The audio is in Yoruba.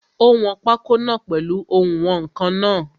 Ó wọn pákó náà pèlu oùnwọ̀nkan náà.